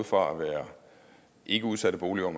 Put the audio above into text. fra at være ikkeudsatte boliger